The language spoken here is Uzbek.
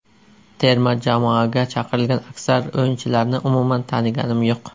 Terma jamoaga chaqirilgan aksar o‘yinchilarni umuman taniganim yo‘q.